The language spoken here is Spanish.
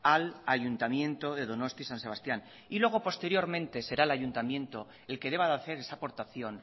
al ayuntamiento de donosti san sebastián y luego posteriormente será el ayuntamiento el que deba de hacer esa aportación